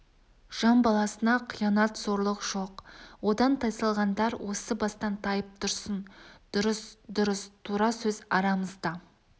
жан баласына қиянат зорлық жоқ одан тайсалғандар осы бастан тайып тұрсын дұрыс дұрыс тура сөз арамызда